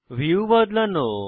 view বদলানো